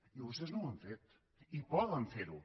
i vostès no ho han fet i poden ferho